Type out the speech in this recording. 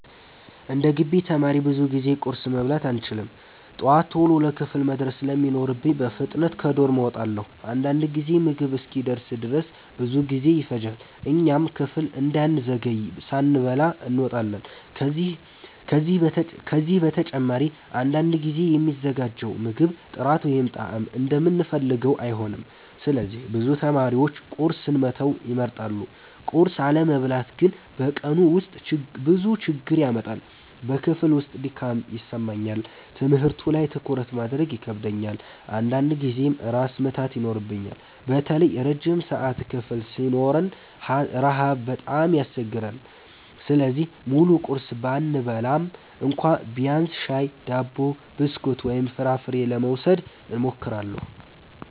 11እንደ ግቢ ተማሪ ብዙ ጊዜ ቁርስ መብላት አልችልም። ጠዋት ቶሎ ለክፍል መድረስ ስለሚኖርብኝ በፍጥነት ከዶርም እወጣለሁ። አንዳንድ ጊዜ ምግብ እስኪደርስ ድረስ ብዙ ጊዜ ይፈጃል፣ እኛም ክፍል እንዳንዘገይ ሳንበላ እንወጣለን። ከዚህ በተጨማሪ አንዳንድ ጊዜ የሚዘጋጀው ምግብ ጥራት ወይም ጣዕም እንደምንፈልገው አይሆንም፣ ስለዚህ ብዙ ተማሪዎች ቁርስን መተው ይመርጣሉ። ቁርስ አለመብላት ግን በቀኑ ውስጥ ብዙ ችግር ያመጣል። በክፍል ውስጥ ድካም ይሰማኛል፣ ትምህርቱ ላይ ትኩረት ማድረግ ይከብደኛል፣ አንዳንድ ጊዜም ራስ ምታት ይኖረኛል። በተለይ ረጅም ሰዓት ክፍል ሲኖረን ረሃብ በጣም ያስቸግራል። ስለዚህ ሙሉ ቁርስ ባልበላም እንኳ ቢያንስ ሻይ፣ ዳቦ፣ ብስኩት ወይም ፍራፍሬ ለመውሰድ እሞክራለሁ።